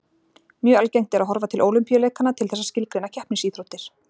Mjög algengt er að horfa til Ólympíuleikanna til þess að skilgreina keppnisíþróttir.